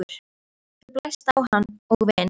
Þú blæst á hann og vin